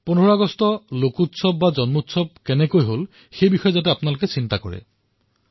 ১৫ August লোকোৎসৱ কিদৰে হব জনোৎসৱ কিদৰে হব এই চিন্তা আপোনালোকে নিশ্চয়কৈ কৰক